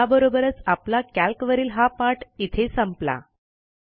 याबरोबरच आपला कॅल्क वरील हा पाठ इथे संपला